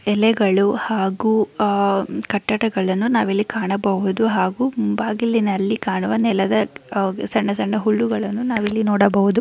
ಎಲೆಗಳು ಹಾಗು ಆಹ್ಹ್ ಕಟ್ಟಡಗಳನ್ನು ನಾವಿಲ್ಲಿ ಕಾಣಬಹುದ ಹಾಗು ಬಾಗಿಲಿನಲ್ಲಿ ಕಾಣುವ ನೆಲದ ಸಣ್ಣ ಸಣ್ಣ ಹುಳುಗಳನ್ನು ನಾವಿಲ್ಲಿ ನೋಡಬಹುದು.